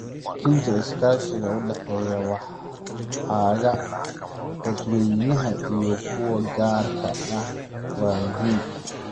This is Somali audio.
Xoojinta iskaashiga u dhexeeya waaxaha dadweynaha iyo kuwa gaarka ah waa muhiim.